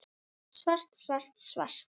Svart, svart, svart.